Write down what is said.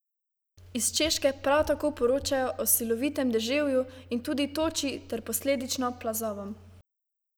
Iz Češke prav tako poročajo o silovitem deževju in tudi toči ter posledično plazovom.